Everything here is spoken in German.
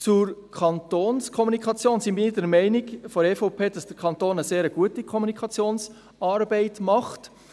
Zur Kantonskommunikation sind wir von der EVP der Meinung, dass der Kanton eine sehr gute Kommunikationsarbeit macht.